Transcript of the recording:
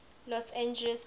los angeles county